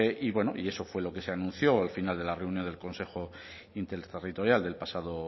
y bueno y eso fue lo que se anunció al final de la reunión del consejo interterritorial del pasado